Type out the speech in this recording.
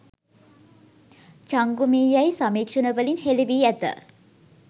චංගුමී යැයි සමීක්ෂණවලින් හෙළි වී ඇත.